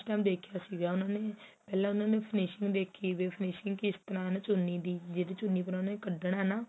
ਦੇਖਿਆ ਸੀ ਉਹਨਾ ਨੇ ਪਹਿਲਾਂ ਉਹਨਾ ਨੇ finishing ਦੇਖੀ ਵੀ finishing ਕਿਸ ਤਰਾ ਚੁੰਨੀ ਦੀ ਜਿਹੜੀ ਚੁੰਨੀ ਕੱਢਨਾ ਏਹ ਨਾ